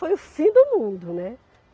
Foi o fim do mundo, né?